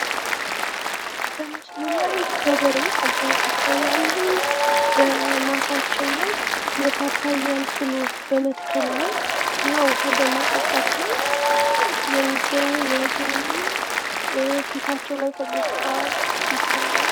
በምስሉ ላይ ገበሬ አባት ይታያሉ። በማሳቸው ላይ የፓፓያ ፍሎች በመትከል ላይ እና ዉሃ በማጠጣት ላይ የሚገኙ ይመስላሉ። ፊታቸው ላይ ፈገግታ ይታያል።